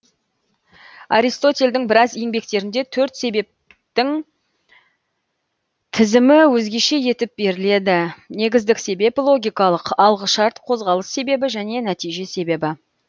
аристотельдің біраз еңбектерінде төрт себептің тізімі өзгеше етіп беріледі негіздік себеп логикалық алғышарт қозғалыс себебі және нәтиже себебі